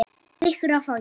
Rýkur á fætur.